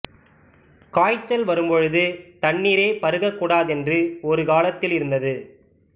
காய்ச்சல் வரும்பொழுது தண்ணீரே பருகக் கூடாதென்று ஒரு காலத்தில் இருந்தது